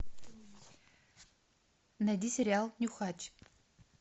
найди сериал нюхач